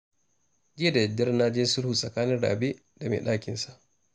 Jiya da daddare na je sulhu tsakanin rabe da mai ɗakinsa